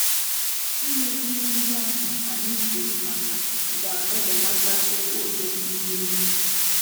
Ime ihe ndị ahụ anyị kwuru maka ga-ebelatatụ ụjọ n'ime